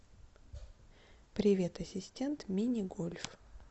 привет ассистент минигольф